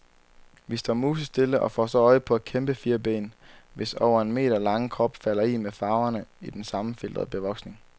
Vi står musestille og får så øje på et kæmpefirben, hvis over en meter lange krop falder i et med farverne i den sammenfiltrede bevoksning.